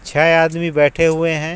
छह आदमी बैठे हुए हैं.